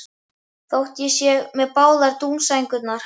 Þótt ég sé með báðar dúnsængurnar.